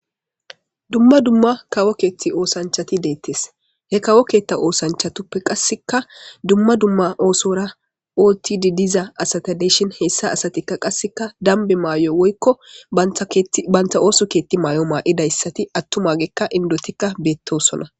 duma duma kawo keeththi osachati deettes he kawo keeththa oosanchatuppe qasseka duma duma oosora ootti didiza asata deshin hessa asatikka qasseka dambe mayo woykko bantha ooso keetti mayo maa7idayssati attumagekka indotikka beettosona